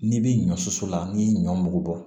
N'i bɛ ɲɔ susu la n'i ye ɲɔ mugu bɔ